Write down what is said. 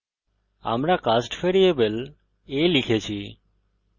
আমরা cast variable a লিখেছি